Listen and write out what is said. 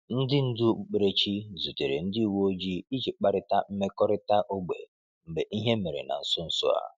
Ndị ndú okpukperechi zutere ndị uwe ojii iji kparịta mmekọrịta ógbè mgbe ihe mere na nso nso a.